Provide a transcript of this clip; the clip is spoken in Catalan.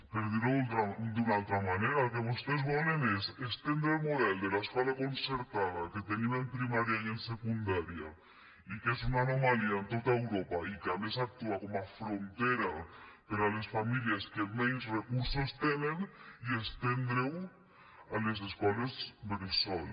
per dir ho d’una altra manera el que vostès volen és estendre el model de l’escola concertada que tenim en primària i en secundària i que és una anomalia en tot europa i que a més actua com a frontera per a les famílies que menys recursos tenen i estendre ho a les escoles bressol